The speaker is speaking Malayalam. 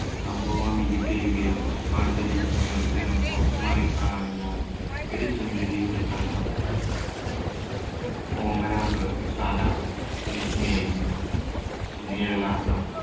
സംഭവാമി യുഗേ യുഗേ, പുഷ്പാഞ്ജലി, പുനർജനം, പോസ്റ്റ്മാനെ കാണാനില്ല, ഒരു സുന്ദരിയുടെ കഥ, ഓമന, നൃത്തശാല, മിസ്സ് മേരി, നിഴലാട്ടം